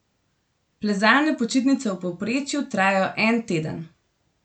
Plezalne počitnice v povprečju trajajo en teden.